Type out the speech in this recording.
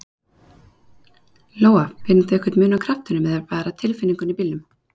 Lóa: Finnur þú einhver mun á kraftinum eða bara tilfinningunni í bílnum?